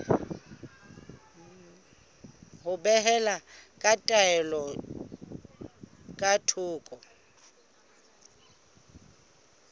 ho behela taelo ka thoko